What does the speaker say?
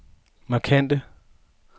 markante